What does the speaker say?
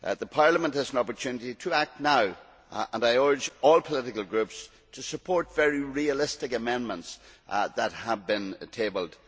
Parliament has an opportunity to act now and I urge all political groups to support the very realistic amendments that have been tabled.